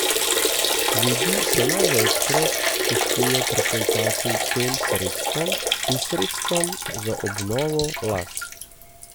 Ljudi se največkrat pustijo pretentati tem sredstvom in sredstvom za obnovo las.